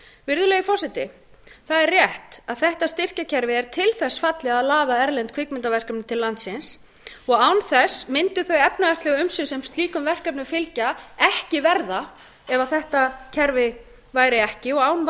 virðulegi forseti það er rétt að þetta styrkjakerfi er til þess fallið að laða erlend kvikmyndaverkefni til landsins og án þess mundu þau efnahagslegu umsvif sem slíkum verkefnum fylgja ekki verða ef þetta kerfi væri ekki og án